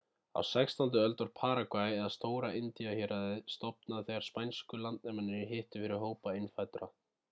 á 16. öld var paragvæ eða stóra indíahéraðið stofnað þegar spænsku landnemarnir hittu fyrir hópa innfæddra